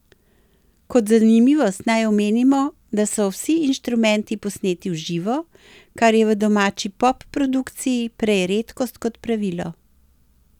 Kot zanimivost naj omenimo, da so vsi inštrumenti posneti v živo, kar je v domači pop produkciji prej redkost kot pravilo.